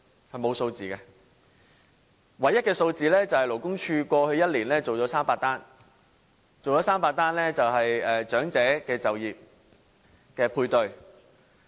是沒有數字的，唯一的數字是勞工處過去1年做了300宗長者就業配對。